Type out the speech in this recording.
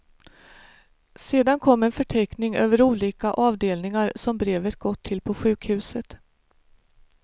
Sedan kom en förteckning över olika avdelningar som brevet gått till på sjukhuset.